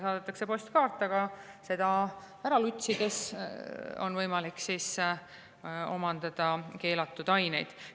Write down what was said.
Saadetakse postkaart ja see ära lutsides on võimalik manustada keelatud aineid.